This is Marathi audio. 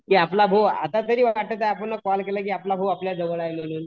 की आपला भाऊ आतातरी वाटत आहे आपण कॉल केला की आपला भाऊ आपल्या जवळ आहे म्हणून